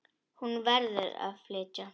Hún verður að flytja.